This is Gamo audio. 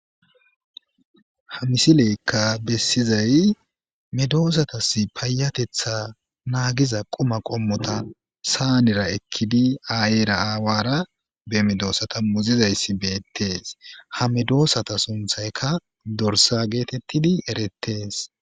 Ha misileykka besizay medosatas payateththa nagiza quma qoommota sanera ekidi ayera aawara be medodsata muzizatis beettes ha medosata sinththaykka dorssa gettettidii erettes